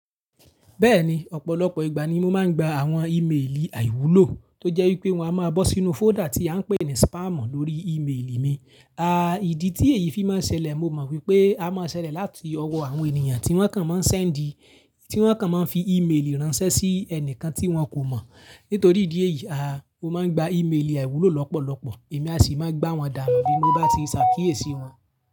Bẹ́ẹ̀ni, ọ̀pọ̀lọpọ̀ ìgbà ni mo máa ń gba àwọn ìméèlì àìwúlò tó jẹ́ wípé wọ́n á máa bọ́ sínú folder tí a ń pè ní spam lórí ìméèlì mi. À, ìdí tí èyí fi máa ń ṣẹlẹ̀ mo mọ̀ wípé a máa ń ṣẹlẹ̀ láti ọwọ́ àwọn ènìyàn tí wọ́n kàn máa ń send, tí wọ́n kàn máa ń fi ìméèlì ránṣẹ́ sí ẹnìkan tí wọn kò mọ̀. Nítorí ìdí èyí, a, mo máa ń gba ìméèlì àìwúlò lọ́pọ̀lọpọ̀ èmi a sì máa gbá wọn dànù ní bí mó bá ti ṣàkíyèsí wọn.